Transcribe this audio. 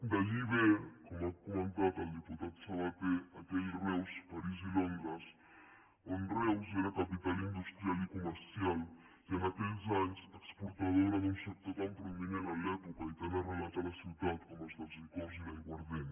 d’allí ve com ha comentat el diputat sabaté aquell reus parís i londres on reus era capital industrial i comercial i en aquells anys exportadora d’un sector tan prominent a l’època i tan arrelat a la ciutat com el dels licors i l’aiguardent